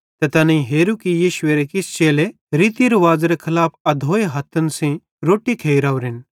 ते तैनेईं हेरू कि यीशुएरे किछ चेले रीति रुवाज़ेरे खलाफ अधोए हथ्थन सेइं रोट्टी खेइ राओरेन